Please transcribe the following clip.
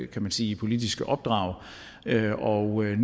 kan sige politiske opdrag og nu er